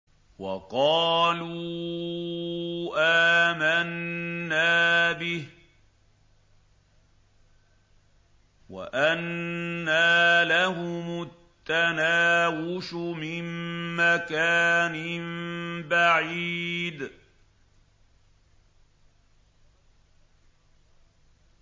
وَقَالُوا آمَنَّا بِهِ وَأَنَّىٰ لَهُمُ التَّنَاوُشُ مِن مَّكَانٍ بَعِيدٍ